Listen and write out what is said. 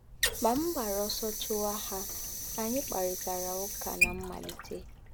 Ma m gbara ọsọ chụwa ha, anyị kparịtara ụka ná mmalite.